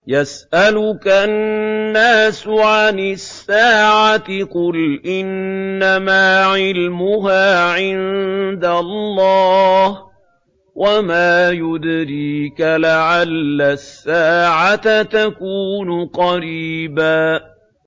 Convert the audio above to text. يَسْأَلُكَ النَّاسُ عَنِ السَّاعَةِ ۖ قُلْ إِنَّمَا عِلْمُهَا عِندَ اللَّهِ ۚ وَمَا يُدْرِيكَ لَعَلَّ السَّاعَةَ تَكُونُ قَرِيبًا